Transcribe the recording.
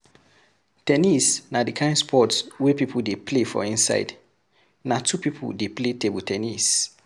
ten nis na di kind sport wey pipo dey play for inside, na two pipo dey play table ten nis